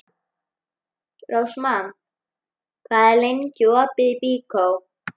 Rósmann, hvað er lengi opið í Byko?